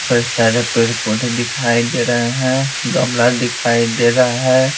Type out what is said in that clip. कई सारे पेड़ पोध दिखाई दे रहे हैं गमला दिखाई दे रहा है।